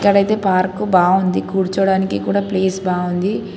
డైతే park బావుంది కూర్చోడానికి కూడా ప్లేస్ బావుంది.